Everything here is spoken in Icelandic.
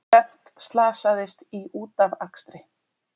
Þrennt slasaðist í útafakstri